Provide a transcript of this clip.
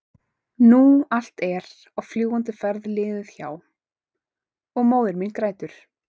nú allt er á fljúgandi ferð liðið hjá- og móðir mín grætur.